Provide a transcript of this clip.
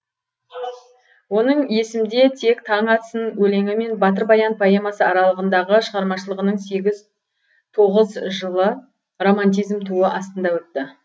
оның есімде тек таң атсын өлеңі мен батыр баян поэмасы аралығындағы шығармашылығының сегіз тоғыз жылы романтизм туы астында өтті